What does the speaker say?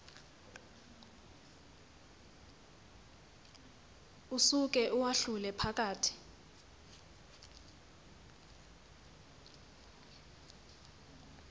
usuke uwahlule phakathi